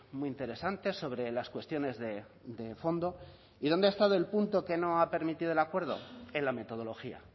muy interesantes sobre las cuestiones de fondo y dónde ha estado el punto que no ha permitido del acuerdo en la metodología